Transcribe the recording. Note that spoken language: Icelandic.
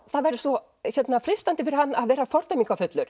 það væri svo freistandi fyrir hann að vera